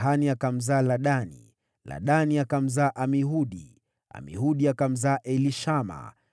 Tahani akamzaa Ladani, Ladani akamzaa Amihudi, Amihudi akamzaa Elishama,